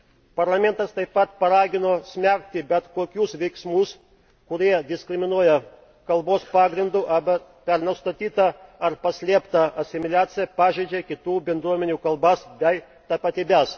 Parlamentas taip pat paragino smerkti bet kokius veiksmus, kurie diskriminuoja kalbos pagrindu arba per nustatytą arba paslėptą asimiliaciją pažeidžia kitų bendruomenių kalbas bei tapatybes.